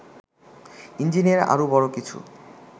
engineer আরো বড় কিছু